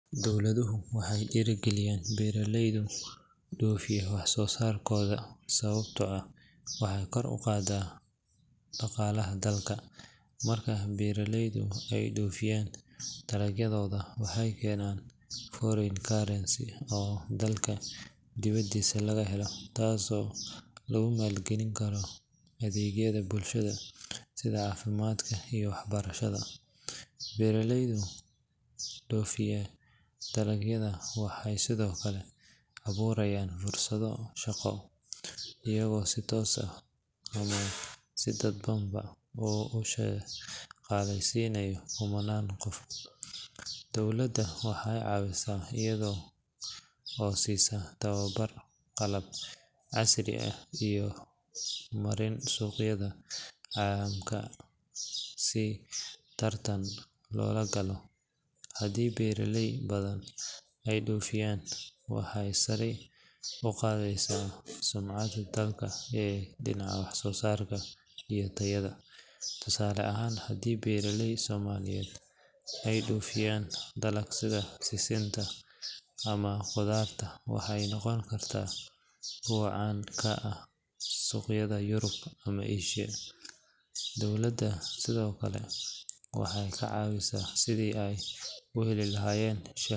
Dowladuhu waxay dhiirigeliyaan beeraleyda dhoofiya wax-soosaarkooda sababtoo ah waxay kor u qaadaa dhaqaalaha dalka. Marka beeraleydu ay dhoofiyaan dalagyadooda, waxay keenaan foreign currency oo dalka dibadiisa laga helo, taasoo lagu maalgelin karo adeegyada bulshada sida caafimaadka iyo waxbarashada. Beeraleyda dhoofiya dalagyada waxay sidoo kale abuurayaan fursado shaqo, iyagoo si toos ah ama si dadban u shaqaaleysiinaya kumanaan qof. Dowladda waxay caawisaa iyada oo siisa tababar, qalab casri ah, iyo marin suuqyada caalamka si tartan loola galo. Haddii beeraley badan ay dhoofiyaan, waxay sare u qaadaysaa sumcadda dalka ee dhinaca wax-soo-saarka iyo tayada. Tusaale ahaan, haddii beeraley Soomaaliyeed ay dhoofiyaan dalag sida sisinta ama qudaarta, waxay noqon karaan kuwo caan ka noqda suuqyada Yurub ama Aasiya. Dowladda sidoo kale waxay ka caawisaa sidii ay u heli lahaayeen.